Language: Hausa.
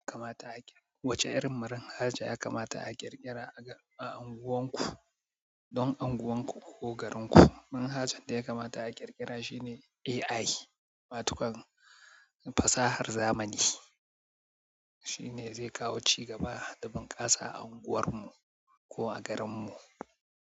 Kamata a ƙirƙ. Wace irin marhaja ya kamata a ƙirƙira a unguwarku, don unguwarku ko garinku? Manhajan da ya kamata a ƙirƙira shine AI, matukan fasahar zamani. Shine zai kawo cigaba da bunƙasa a unguwarmu ko a garinmu.